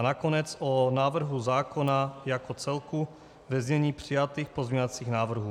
A nakonec o návrhu zákona jako celku ve znění přijatých pozměňovacích návrhů.